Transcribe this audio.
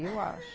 Eu acho.